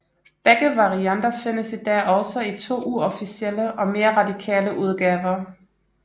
Begge varianter findes i dag også i to uofficielle og mere radikale udgaver